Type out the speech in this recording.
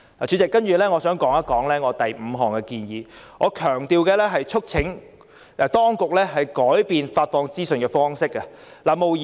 主席，我接着想談我的議案第五部分的建議，促請當局改變發放資訊的方式。